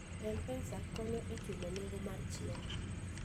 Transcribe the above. M-Pesa konyo e chulo nengo mar chiemo.